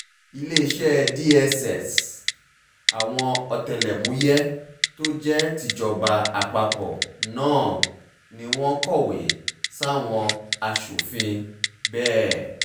iléeṣẹ́ dss àwọn ọ̀tẹlẹ̀múyẹ́ tó jẹ́ tìjọba àpapọ̀ náà ni wọ́n kọ̀wé sáwọn aṣòfin bẹ́ẹ̀